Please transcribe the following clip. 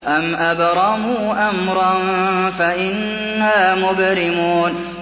أَمْ أَبْرَمُوا أَمْرًا فَإِنَّا مُبْرِمُونَ